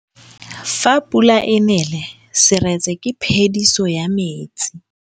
Fa pula e nelê serêtsê ke phêdisô ya metsi.